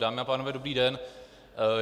Dámy a pánové, dobrý den.